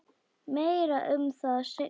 Meira um það seinna.